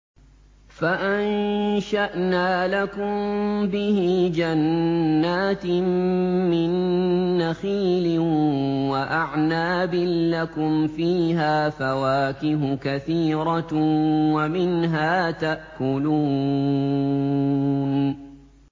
فَأَنشَأْنَا لَكُم بِهِ جَنَّاتٍ مِّن نَّخِيلٍ وَأَعْنَابٍ لَّكُمْ فِيهَا فَوَاكِهُ كَثِيرَةٌ وَمِنْهَا تَأْكُلُونَ